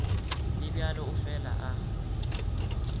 le bjalo o fela a